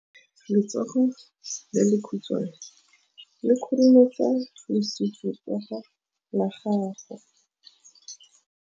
Letsogo le lekhutshwane le khurumetsa lesufutsogo la gago.